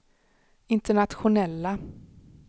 internationella